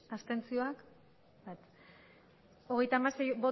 abstentzioa hogeita hamasei